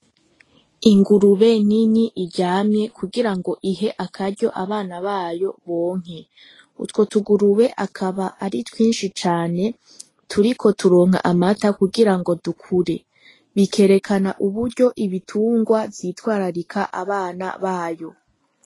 Ingurube nini iryamye kugira ngo ihe akaryo abana bayo bonke. Utwo tugurube akaba ari twinshi cane turiko turonka amata kugira ngo dukure, bikerekana uburyo ibitungwa vyitwararika abana babo.